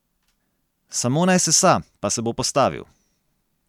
Samo naj sesa, pa se bo postavil.